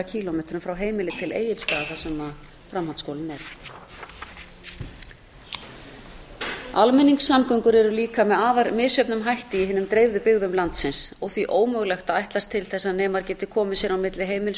kílómetrum frá heimili til egilsstaða þar sem framhaldsskólinn er almenningssamgöngur eru líka með afar misjöfnum hætti í hinum dreifðu byggðum landsins og því ómögulegt að ætlast til þess að nemar geti komið sér á milli heimilis og skóla